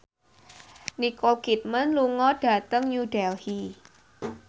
Nicole Kidman lunga dhateng New Delhi